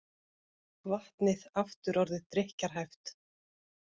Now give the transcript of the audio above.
Vatnið aftur orðið drykkjarhæft